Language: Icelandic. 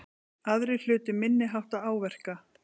Aðrir hlutu minniháttar áverka